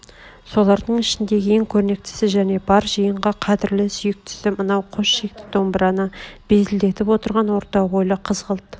солардың ішіндегі ең көрнектісі және бар жиынға қадрлі сүйктсі мынау қос шекті домбыраны безлдетіп отырған орта бойлы қызғылт